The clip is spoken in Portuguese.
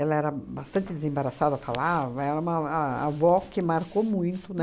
Ela era bastante desembaraçada, falava, era uma a avó que marcou muito,